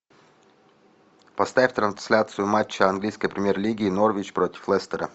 поставь трансляцию матча английской премьер лиги норвич против лестера